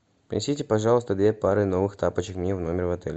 принесите пожалуйста две пары новых тапочек мне в номер в отеле